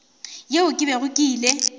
yeo ke bego ke ile